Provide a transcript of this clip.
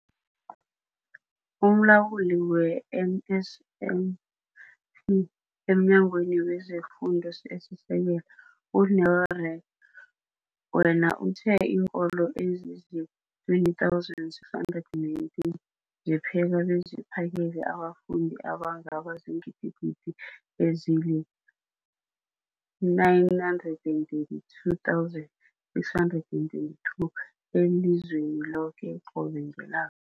UmLawuli we-NSNP e-mNyangweni wezeFun-do esiSekelo, u-Neo Rak-wena, uthe iinkolo ezizii-20 619 zipheka beziphakele abafundi abangaba ziingidi ezili-9 032 622 elizweni loke qobe ngela